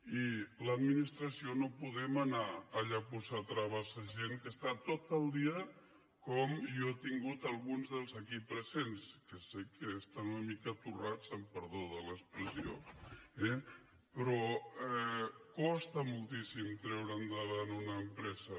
i l’administració no podem anar allà a posar traves a gent que està tot el dia com jo he tingut alguns dels aquí presents que sé que estan una mica torrats amb perdó de l’expressió eh però costa moltíssim treure endavant una empresa